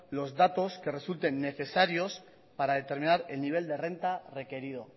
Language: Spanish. los datos que resulten necesarios para determinar el nivel de renta requerido